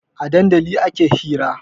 A dandali ake hira